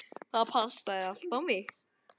Það passaði allt á mig.